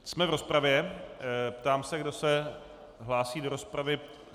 Jsme v rozpravě, ptám se, kdo se hlásí do rozpravy.